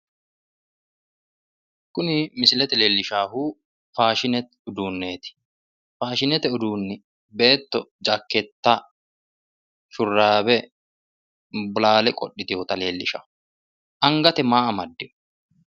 Tini misilete leellishaahu faadhinete uduunneeti. Faashinete uduunni beetto jakkeetta, shurraawe, bolaale qodhitiwota leellishshanno. Angate maa amaddino?